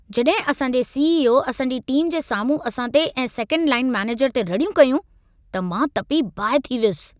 जॾहिं असां जे सी.ई.ओ. असां जी टीम जे साम्हूं असां ते ऐं सेकंड लाइन मैनेजर ते रड़ियूं कयूं, त मां तपी बाहि थी वियुसि।